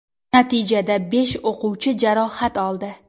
Natijada besh o‘quvchi jarohat oldi.